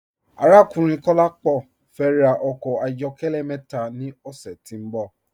Arákùnrin Kọ̀lápọ fẹ́ rà ọkọ ayọ̀kẹlẹ̀ mẹta ni ọṣẹ̀ tí n bọ̀.